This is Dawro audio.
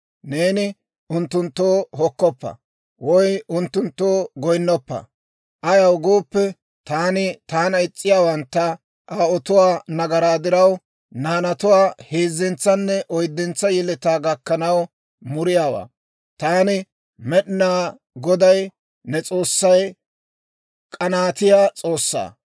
Neeni unttunttoo hokkoppa; woy unttunttoo goyinnoppa; ayaw gooppe, taani taana is's'iyaawantta aawotuwaa nagaraa diraw, naanatuwaa heezzentsanne oyddentsa yeletaa gakkanaw muriyaawaa; taani, Med'inaa Goday ne S'oossay k'anaatiyaa S'oossaa.